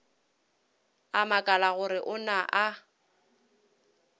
a makala gore na o